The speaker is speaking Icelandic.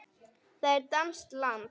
Það er danskt land.